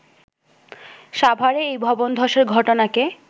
সাভারে এই ভবন ধসের ঘটনাকে